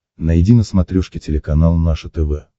найди на смотрешке телеканал наше тв